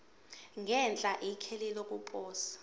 ngenhla ikheli lokuposa